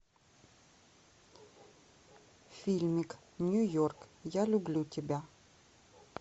фильмик нью йорк я люблю тебя